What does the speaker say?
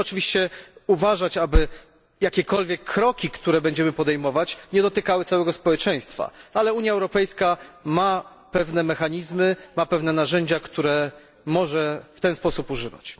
Musimy oczywiście uważać, aby jakiekolwiek kroki, które będziemy podejmować, nie dotykały całego społeczeństwa, ale Unia Europejska ma pewne mechanizmy, ma pewne narzędzia, których może w ten sposób używać.